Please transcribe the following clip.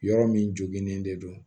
Yɔrɔ min joginen de don